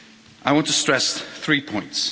I want to stress three points.